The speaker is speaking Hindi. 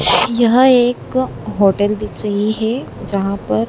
यह एक होटल दिख रही है जहां पर--